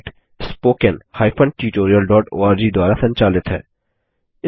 यह project httpspoken tutorialorg द्वारा संचालित है